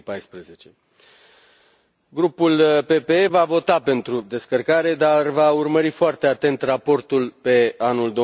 2014. Grupul PPE va vota pentru descărcare, dar va urmări foarte atent raportul pe anul